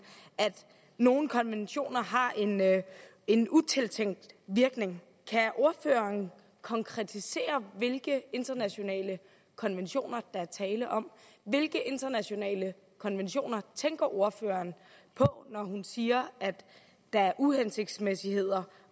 at nogle konventioner har en utilsigtet virkning kan ordføreren konkretisere hvilke internationale konventioner der er tale om hvilke internationale konventioner tænker ordføreren på når hun siger at der er uhensigtsmæssigheder